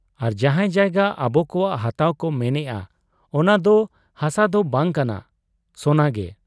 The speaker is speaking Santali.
ᱟᱨ ᱡᱟᱦᱟᱸ ᱡᱟᱭᱜᱟ ᱟᱵᱚᱠᱚᱣᱟᱜ ᱦᱟᱛᱟᱣ ᱠᱚ ᱢᱮᱱᱮᱜ ᱟ, ᱚᱱᱟᱫᱚ ᱦᱟᱥᱟᱫᱚ ᱵᱟᱝ ᱠᱟᱱᱟ ᱥᱚᱱᱟᱜᱮ ᱾